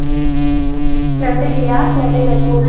நன்றி லியா நன்றி தர்ஷினி